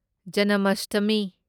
ꯖꯅꯃꯁꯇꯃꯤ